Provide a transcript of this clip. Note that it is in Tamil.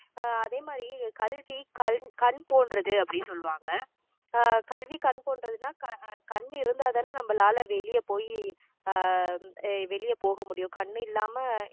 எர் அதே மாதிரி கல்வி கல்~ கண் போன்றது அப்படி சொல்லுவாங்க ஆஹ் கல்வி கண் போன்றதுன்னா அஹ் கண் இருந்தாதானே நம்மளால வெளிய போய் ஆஹ் அஹ் வெளிய போக முடியும் கண் இல்லாம